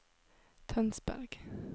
Tønsberg